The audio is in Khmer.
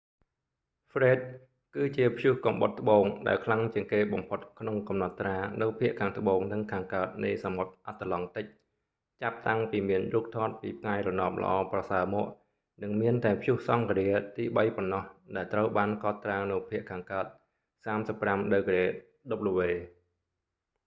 ហ្វ្រេដ fred គឺជាព្យុះកំបុតត្បូងដែលខ្លាំងជាងគេបំផុតក្នុងកំណត់ត្រានៅភាគខាងត្បូងនិងខាងកើតនៃសមុទ្រអាត្លង់ទិច ចាប់តាំងពីមានរូបថតពីផ្កាយរណបល្អប្រសើរមក និងមានតែព្យុះសង្ឃរាទីបីប៉ុណ្ណោះដែលត្រូវបានកត់ត្រានៅភាគខាងកើត 35°w។